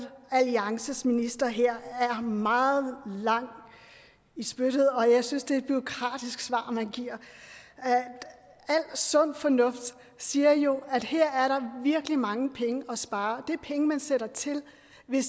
alliances minister her er meget lang i spyttet og jeg synes det er et bureaukratisk svar man giver al sund fornuft siger jo at her er der virkelig mange penge at spare det er penge man sætter til hvis